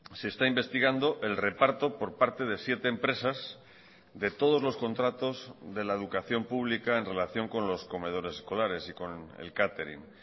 se está investigando el reparto por parte de siete empresas de todos los contratos de la educación pública en relación con los comedores escolares y con el catering